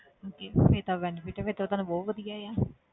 Okay ਫਿਰ ਤਾਂ benefit ਫਿਰ ਤਾਂ ਤੁਹਾਨੂੰ ਬਹੁਤ ਵਧੀਆ ਆ